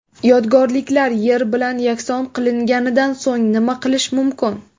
Yodgorliklar yer bilan yakson qilinganidan so‘ng nima qilish mumkin?